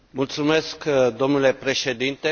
Mulțumesc, domnule președinte.